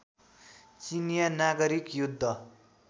चिनियाँ नागरिक युद्ध